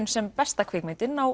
sem besta kvikmyndin á